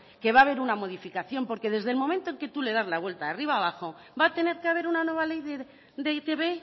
que va a haber una modificación porque desde el momento en que tú le das la vuelta de arriba abajo va a tener que haber una nueva ley de e i te be